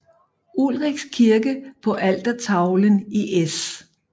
Ulrichs kirke på altertavlen i S